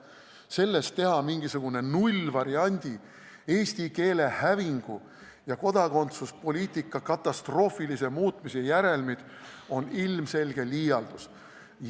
Teha sellest mingisugused nullvariandi, eesti keele hävingu ja kodakondsuspoliitika katastroofilise muutmise järelmid, on ilmselge liialdus.